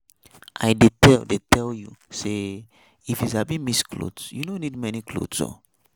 I dey tell dey tell you say if you sabi mix clothes, you no need many clothes oo.